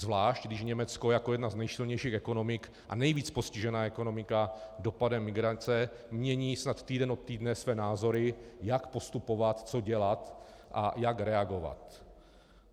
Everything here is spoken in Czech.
Zvlášť když Německo jako jedna z nejsilnějších ekonomik a nejvíc postižená ekonomika dopadem migrace mění snad týden od týdne své názory, jak postupovat, co dělat a jak reagovat.